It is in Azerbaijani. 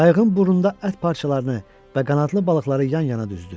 Qayığın burnunda ət parçalarını və qanadlı balıqları yan-yana düzdü.